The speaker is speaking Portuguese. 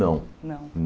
Não. Não